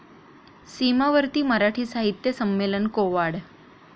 सीमावर्ती मराठी साहित्य संमेलन कोवाड